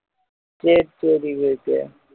சரி சரி விவேக்கு